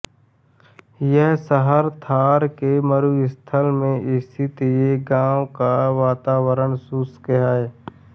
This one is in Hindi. यह शहर थार के मरुस्थल में स्थित हे यहाँ का वातावरण शुष्क है